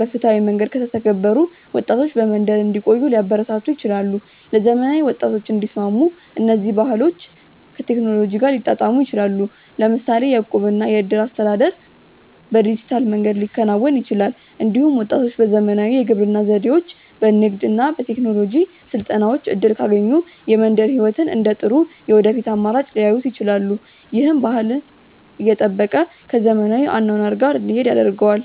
በፍትሃዊ መንገድ ከተተገበሩ ወጣቶች በመንደር እንዲቆዩ ሊያበረታቱ ይችላሉ። ለዘመናዊ ወጣቶች እንዲስማሙ እነዚህ ባህሎች ከቴክኖሎጂ ጋር ሊጣጣሙ ይችላሉ። ለምሳሌ የእቁብ እና የእድር አስተዳደር በዲጂታል መንገድ ሊከናወን ይችላል። እንዲሁም ወጣቶች በዘመናዊ የግብርና ዘዴዎች፣ በንግድ እና በቴክኖሎጂ ስልጠናዎች እድል ካገኙ የመንደር ሕይወትን እንደ ጥሩ የወደፊት አማራጭ ሊያዩት ይችላሉ። ይህም ባህልን እየጠበቀ ከዘመናዊ አኗኗር ጋር እንዲሄድ ያደርገዋል።